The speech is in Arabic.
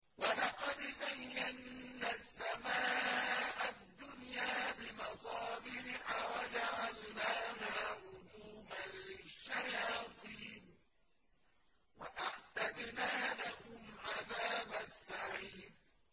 وَلَقَدْ زَيَّنَّا السَّمَاءَ الدُّنْيَا بِمَصَابِيحَ وَجَعَلْنَاهَا رُجُومًا لِّلشَّيَاطِينِ ۖ وَأَعْتَدْنَا لَهُمْ عَذَابَ السَّعِيرِ